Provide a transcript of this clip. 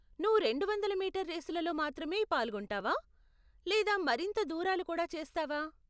నువ్వు రెండు వందల మీటర్ రేసులలో మాత్రమే పాల్గొంటావా లేదా మరింత దూరాలు కూడా చేస్తావా?